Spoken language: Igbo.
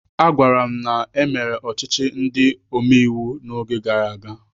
Agwara m na e mere ọchịchị ndị omeiwu n'oge gara aga.